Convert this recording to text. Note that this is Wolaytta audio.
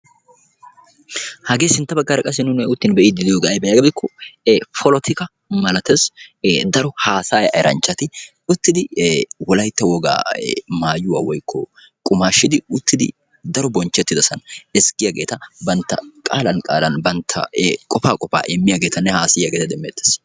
Hagee sintta baggaara qassi nuuni be'iiddi diyogee ayibee yaagiyaba gidikko polotika malates. Daro haasaya eranchchati uttidi wolayitta wogaa mayuwa woyikko qumaashshidi uttidi bonchchettidasan qaalan qaalan bantta qofaa qofaa aasayiyageeta demmeettes.